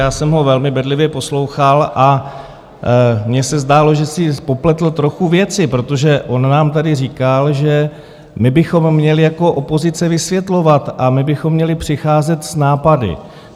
Já jsem ho velmi bedlivě poslouchal a mně se zdálo, že si popletl trochu věci, protože on nám tady říkal, že my bychom měli jako opozice vysvětlovat a my bychom měli přicházet s nápady.